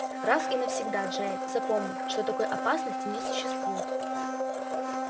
раз и навсегда джаэль запомни что такой опасности не существует